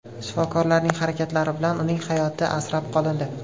Shifokorlarning harakatlari bilan uning hayoti asrab qolindi.